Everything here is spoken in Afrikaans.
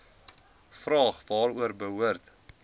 vraag waaroor behoort